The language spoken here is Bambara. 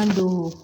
An don